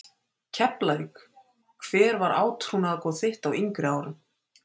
Keflavík Hver var átrúnaðargoð þitt á yngri árum?